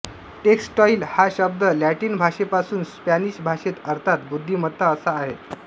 textile हा शब्द Latin भाषेपासून स्पॅनिश भाषेत अर्थात् बुद्धिमत्ता असा आहे